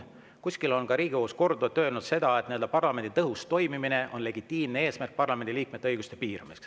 Kuskil on Riigikohus korduvalt öelnud, et parlamendi tõhus toimimine on legitiimne eesmärk parlamendi liikmete õiguste piiramiseks.